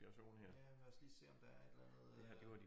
Ja lad os lige se om der er et eller andet øh